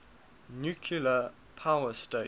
nuclear power stations